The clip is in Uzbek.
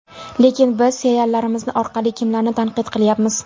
Lekin biz seriallarimiz orqali kimlarni tanqid qilyapmiz?